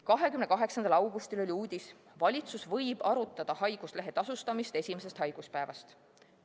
28. augustil oli uudis: "Valitsus võib arutada haiguslehe tasustamist esimesest haiguspäevast".